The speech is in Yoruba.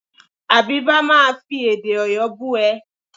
Àbíbá máa fi èdè Ọ̀yọ́ bú ẹ.